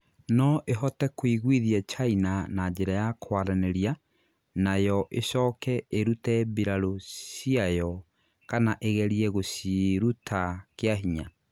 No ĩhote kũiguithia China na njĩra ya kwaranĩria na yo ĩcooke ĩrute mbirarũ ciayo kana ĩgerie gũciiruta kĩahinya.